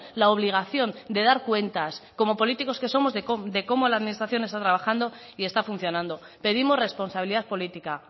la obligación de dar cuentas como políticos que somos de cómo la administración está trabajando y está funcionando pedimos responsabilidad política